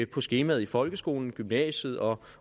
på skemaet i folkeskolen i gymnasiet og